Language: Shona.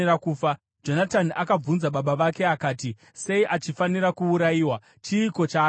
Jonatani akabvunza baba vake akati, “Sei achifanira kuurayiwa? Chiiko chaakaita?”